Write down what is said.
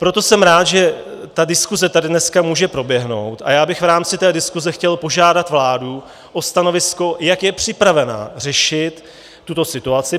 Proto jsem rád, že ta diskuse tady dneska může proběhnout, a já bych v rámci té diskuse chtěl požádat vládu o stanovisko, jak je připravena řešit tuto situaci.